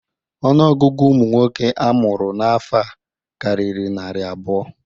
Ọnụọgụgụ ụmụ nwoke a mụrụ n'afọ a karịrị narị abụọ.